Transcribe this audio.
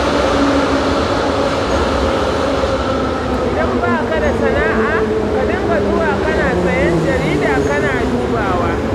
Idan ba ka da sana'a, ka dinga zuwa kana sayen jarida kana dubawa